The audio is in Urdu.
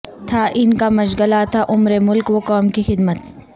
تھا ان کا مشغلہ تا عمر ملک و قوم کی خدمت